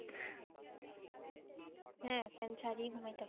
হ্যাঁ ফ্যান ছাড়িই ঘুমাইতে হয়।